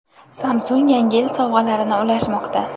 Samsung Yangi yil sovg‘alarini ulashmoqda!.